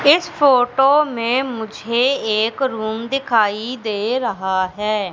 इस फोटो मे मुझे एक रूम दिखाई दे रहा है।